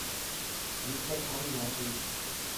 виктор аннасович